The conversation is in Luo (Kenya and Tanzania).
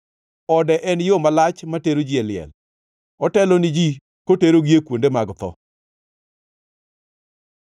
Ode en yo malach matero ji e liel, otelo ni ji koterogi e kuonde mag tho.